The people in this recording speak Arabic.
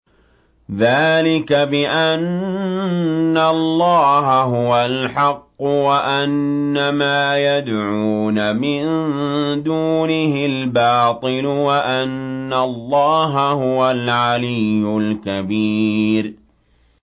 ذَٰلِكَ بِأَنَّ اللَّهَ هُوَ الْحَقُّ وَأَنَّ مَا يَدْعُونَ مِن دُونِهِ الْبَاطِلُ وَأَنَّ اللَّهَ هُوَ الْعَلِيُّ الْكَبِيرُ